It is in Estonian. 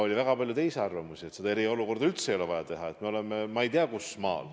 Oli väga palju arvamusi, et eriolukorda üldse ei ole vaja kehtestada, et me ei ole mingi selline maa.